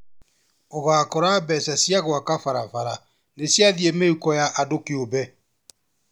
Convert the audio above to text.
Ũgakora mbeca cia gwaka barabara nĩciathiĩ mĩhuko ya andũ kĩũmbe